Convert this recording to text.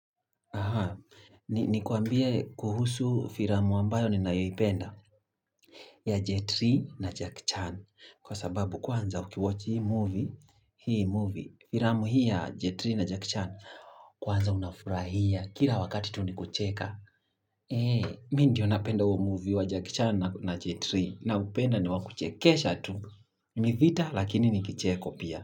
Aha. Nikuambie kuhusu filamu ambayo ninayoipenda ya J3 na Jack Chan. Kwa sababu kwanza ukiwachi hii movie, hii movie, filamu hii ya J3 na Jack Chan, kwanza unafurahia kila wakati tu ni kucheka. Eee, mi ndiyo napenda huo movie wa Jack Chan na J3 na upenda ni wakuchekesha tu. Ni vita lakini ni kicheko pia.